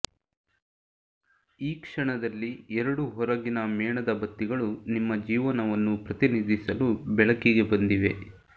ಈ ಕ್ಷಣದಲ್ಲಿ ಎರಡು ಹೊರಗಿನ ಮೇಣದ ಬತ್ತಿಗಳು ನಿಮ್ಮ ಜೀವನವನ್ನು ಪ್ರತಿನಿಧಿಸಲು ಬೆಳಕಿಗೆ ಬಂದಿವೆ